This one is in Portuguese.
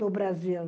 Do Brasil.